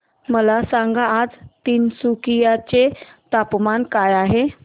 मला सांगा आज तिनसुकिया चे तापमान काय आहे